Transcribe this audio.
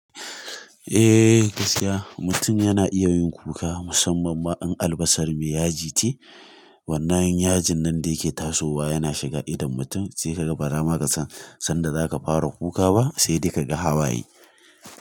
Eh gaskiya, mutum yana iya yin kuka musamman ma in albasa mai yaji ce, wannan yajin nan da yake tasowa yana shiga idon mutum sai kaga bara ma ka san sanda zaka fara kuka ba sai da ka ga hawaye.